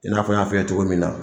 I n'a fɔ n y'a fɔ i ye cogo min na